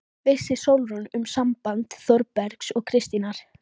Vissi Sólrún um samband Þórbergs og Kristínar?